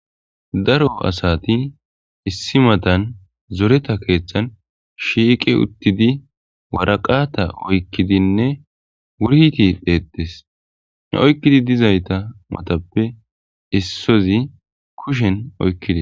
daro asati issi matan zoreta keethtan shiiqe uttidi waraqata oykkidinne wurti dheeqtes ne oykkidi dizayta matappe issozi kushen oykkidi